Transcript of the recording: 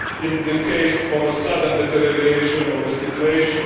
in the case of a sudden deterioration of the situation.